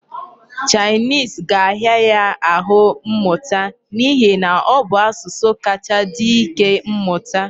Chinese ga-ahịa ya ahụ mmụta n'ihi na ọ bụ asụsụ kacha dị ike mmụta.